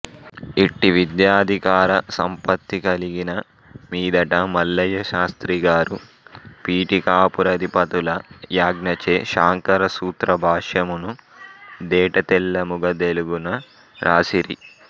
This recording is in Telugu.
ఇట్టి విద్యాధికార సంపత్తి కలిగిన మీదట మల్లయ్యశాస్త్రిగారు పీఠికాపురాధిపతుల యాజ్ఞచే శాంకరసూత్ర భాష్యమును దేటతెల్లముగ దెలుగున వ్రాసిరి